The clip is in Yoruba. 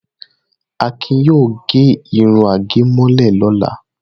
Akin yóò gẹ irun àgẹ̀mọ́lẹ̀ lọ́la.